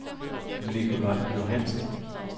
Nikolaj Johansen